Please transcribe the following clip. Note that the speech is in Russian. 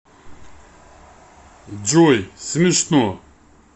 джой смешно